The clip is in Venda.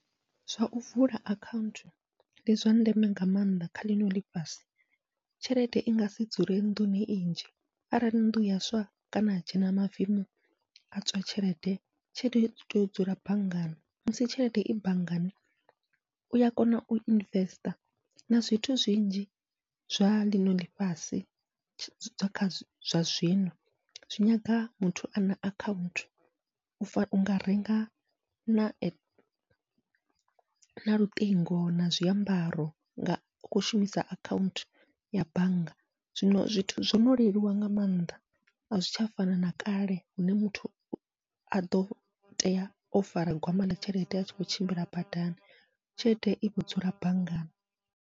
Zwau vula akhaunthu ndi zwa ndeme nga maanḓa kha ḽino ḽifhasi, tshelede i ngasi dzule nnḓuni i nnzhi arali nnḓu ya swa kana ha dzhena mavemu a tswa tshelede, tshelede i tea u dzula banngani musi tshelede i banngani uya kona u investor na zwithu zwinzhi zwa ḽino ḽifhasi, zwa zwino zwi nyaga muthu ana akhaunthu u fana unga renga na na luṱingo na zwiambaro nga u khou shumisa akhaunthu ya bannga. Zwino zwithu zwono leluwa nga maanḓa, azwi tsha fana na kale hune muthu aḓo tea o fara gwama ḽa tshelede atshi kho tshimbila badani tshelede i vho dzula banngani.